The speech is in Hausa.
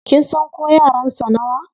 Kin san ko yaran sa nawa?